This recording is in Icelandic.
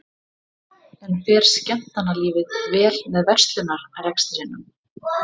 En fer skemmtanalífið vel með verslunarrekstrinum?